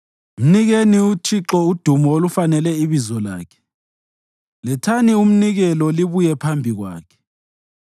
Mnikeni uThixo udumo olufanele ibizo lakhe. Lethani umnikelo libuye phambi kwakhe.